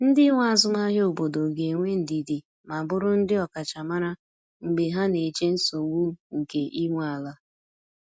Ndị nwe azụmahịa obodo ga-enwe ndidi ma bụrụ ndị ọkachamara mgbe ha na-eche nsogbu nke ị nwe ala.